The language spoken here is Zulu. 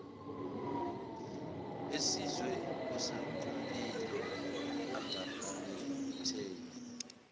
esizwe osikompilo angaphatheki